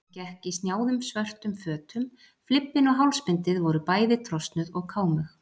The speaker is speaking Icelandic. Hann gekk í snjáðum svörtum fötum, flibbinn og hálsbindið voru bæði trosnuð og kámug.